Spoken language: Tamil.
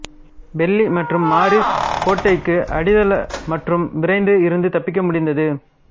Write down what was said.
பெல்லி மற்றும் மாரிஸ் கோட்டைக்கு அடித்தள மற்றும் விரைந்து இருந்து தப்பிக்க முடிந்தது